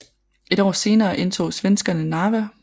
Et år senere indtog svenskerne Narva